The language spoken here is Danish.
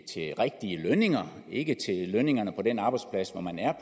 til rigtige lønninger ikke til lønningerne på den arbejdsplads hvor man er